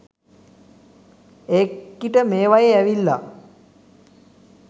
ඒකිට මේවයෙ ඇවිල්ල